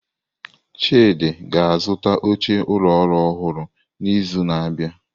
Chidi ga-azụta oche ụlọ ọrụ ọhụrụ n'izu na-abịa.